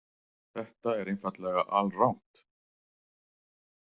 Þetta er einfaldlega alrangt.